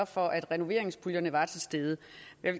for at renoveringspuljerne var til stede